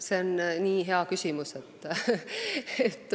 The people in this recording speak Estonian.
See on nii hea küsimus.